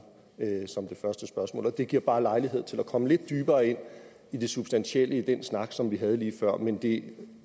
som det første spørgsmål og det giver bare lejlighed til at komme lidt dybere ind i det substantielle i den snak som vi havde lige før men det